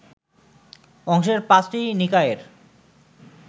অংশের পাঁচটি নিকায়ের